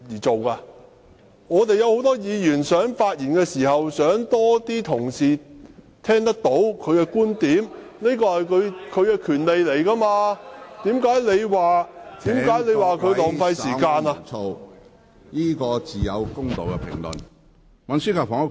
很多議員希望發言時有更多同事聽到他的觀點，他亦有權要求點算法定人數，你怎能說這是浪費時間？